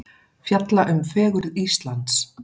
Fjalla um fegurð Íslands